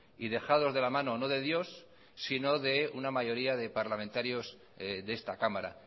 y dejados de la mano no de dios sino de una mayoría de parlamentarios de esta cámara